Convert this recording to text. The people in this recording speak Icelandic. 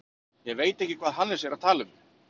Ég veit ekki hvað Hannes er að tala um.